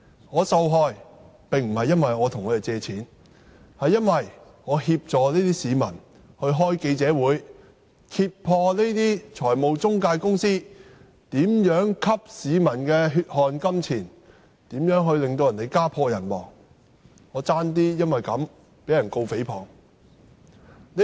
我受害並非因為我向他們借貸，而是因為我協助那些市民召開記者招待會，揭破這些財務中介公司如何吸市民的血汗錢，如何令他們家破人亡，以致我差點被控誹謗。